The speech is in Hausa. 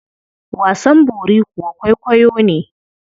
Wasan bori kuwa kwaikwayo ne.